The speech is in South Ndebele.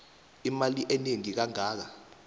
imali enengi kangaka